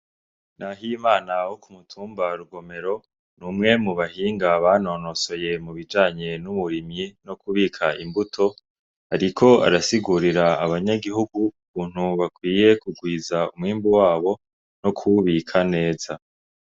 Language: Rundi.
Nahimana wo kumutumba wa Rugumero numwe mu bahinga banonosoye ibijanye n'uburimyi no kubika imbuto ariko arasigurira abanyagihugu ukuntu bakwiye kugwiza umwimbu wabo no kuwubika neza.